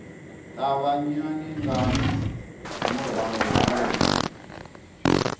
ṱavhanya nga murahu ha musi